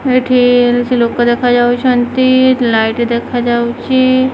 ଏଇଠି କିଛି ଲୋକ ଦେଖା ଯାଉଛନ୍ତି ଲାଇଟ୍ ଦେଖାଯାଉଚି।